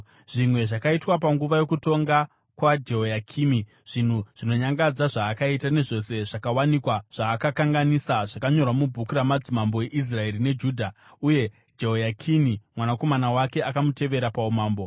Zvimwe zvakaitwa panguva yokutonga kwaJehoyakimi, zvinhu zvinonyangadza zvaakaita nezvose zvakawanikwa zvaakakanganisa, zvakanyorwa mubhuku ramadzimambo eIsraeri neJudha. Uye Jehoyakini mwanakomana wake akamutevera paumambo.